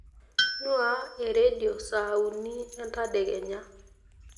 nuaa eredio saa uni entadekenya